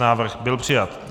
Návrh byl přijat.